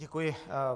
Děkuji.